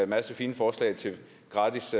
masse fine forslag til gratis